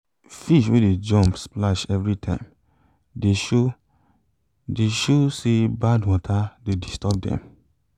fish wey dey jump splash everytime de show de show say bad water de disturb dem